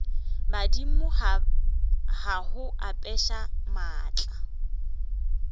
badimo ba go apeša maatla